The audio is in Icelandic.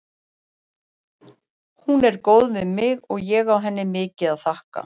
Hún er góð við mig og ég á henni mikið að þakka.